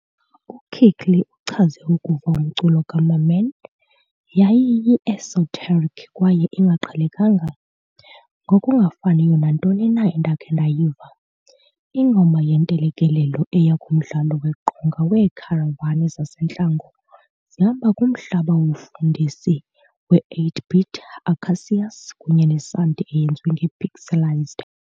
U-Kirkley uchaze ukuva umculo kaMamman- "Yayiyi-esoteric kwaye ingaqhelekanga, ngokungafaniyo nantoni na endakha ndayiva - ingoma yentelekelelo eya kumdlalo weqonga weekharavani zasentlango zihamba kumhlaba wobufundisi we-8-bit acacias kunye nesanti eyenziwe ngepixelized."